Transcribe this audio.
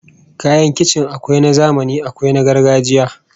Kayan kicin akwai na zamani akwai na gargajiya